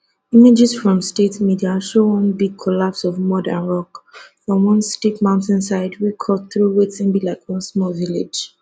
images from state media show one big collapse of mud and rock from one steep mountainside wey cut through wetin be like one small village